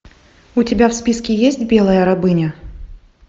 у тебя в списке есть белая рабыня